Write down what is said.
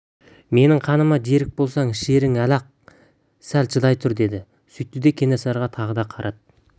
менің қаныма жерік болсаң ішерсің әлі-ақ сәл шыдай тұр деді сөйтті де кенесарыға тағы да қарады